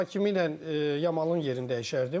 Hakimi ilə Yamalın yerini dəyişərdim.